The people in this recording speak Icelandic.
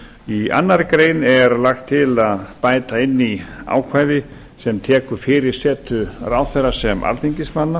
í annarri grein er lagt til að bæta inn í ákvæði sem tekur fyrir setu ráðherra sem alþingismanna